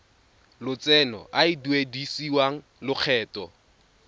lotseno a a duedisiwang lokgetho